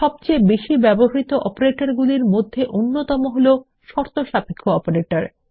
সবচেয়ে বেশি ব্যবহৃত অপারেটগুলির মধ্যে অন্যতম শর্তসাপেক্ষ অপারেটর